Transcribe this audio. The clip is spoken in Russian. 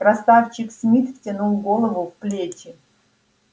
красавчик смит втянул голову в плечи